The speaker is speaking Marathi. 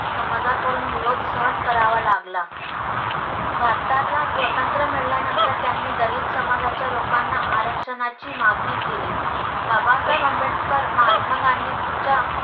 समाजाकडून विरोध सहन करावा लागला भारताला स्वतंत्र मिळाल्यानंतर त्यांनी दलित समाजाच्या लोकांना आरक्षणाची मागणी केली बाबासाहेब आंबेडकर महात्मा गांधीच्या